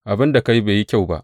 Abin da ka yi bai yi kyau ba.